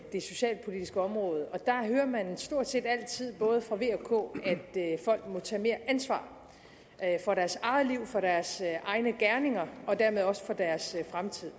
det socialpolitiske område og der hører man stort set altid både fra v og k at folk må tage mere ansvar for deres eget liv for deres egne gerninger og dermed også for deres fremtid